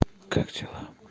как дела